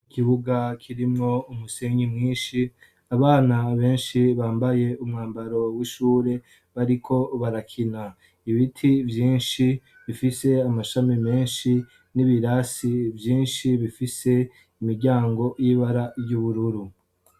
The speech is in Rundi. Ikibuga kirimwo umusenyi mwishi, abana benshi bambaye umwambaro w'ishure bariko barakina. Ibiti vyinshi bifise amashami menshi n'ibirasi vyinshi bifise imiryango y'ibara yubururu.